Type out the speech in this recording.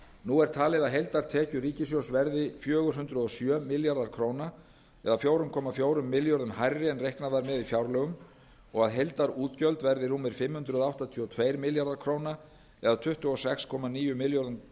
nú er talið að heildartekjur ríkissjóðs verði fjögur hundruð og sjö milljarðar króna eða fjögur komma fjórum milljörðum hærri en reiknað var með í fjárlögum og að heildargjöld verði rúmir fimm hundruð áttatíu og tveir milljarðar króna eða tuttugu og sex komma níu milljörðum